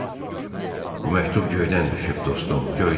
Bu məktub göydən düşüb dostum, göydən.